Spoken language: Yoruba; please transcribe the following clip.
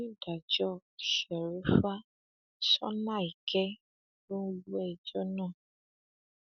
bẹ́ẹ̀ ló ní kí àwọn olólùfẹ òun fọkàn balẹ